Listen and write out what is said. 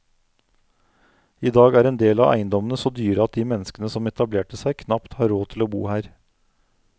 I dag er en del av eiendommene så dyre at de menneskene som etablerte seg, knapt har råd til å bo her.